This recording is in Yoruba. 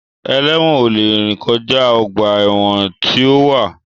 Ẹlẹ́wọ̀n ò lè rìn kọjá ọgbà ẹ̀wọ̀n tí ó wà